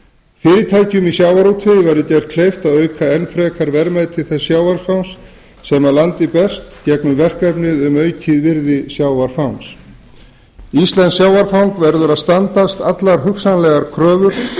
fyrirtækjum í sjávarútvegi verður gert kleift að auka enn frekar verðmæti þess sjávarfangs sem að landi berst í gegnum verkefnið um aukið virði sjávarfangs íslenskt sjávarfang verður að standast allar hugsanlegar kröfur